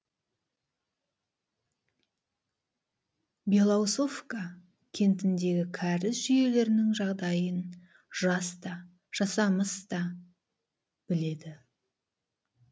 белоусовка кентіндегі кәріз жүйелерінің жағдайын жас та жасамыс та біледі